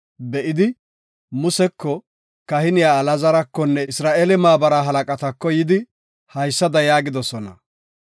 be7idi Museko, kahiniya Alaazarakonne Isra7eele maabara halaqatako yidi haysada yaagidosona.